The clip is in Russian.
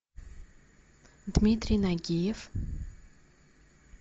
дмитрий нагиев